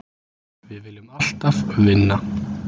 Við viljum alltaf vinna.